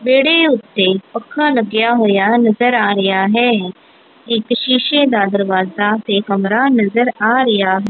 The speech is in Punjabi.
ਵੇੜੇ ਉੱਤੇ ਪੱਖਾ ਲੱਗਿਆ ਹੋਇਆ ਨਜ਼ਰ ਆ ਰਹੀਆਂ ਹੈ ਇੱਕ ਸ਼ੀਸ਼ੇ ਦਾ ਦਰਵਾਜ਼ਾ ਤੇ ਕਮਰਾ ਨਜ਼ਰ ਆ ਰਿਹਾ--